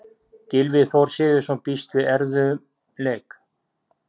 Gylfi Þór Sigurðsson býst við erfiðum leik.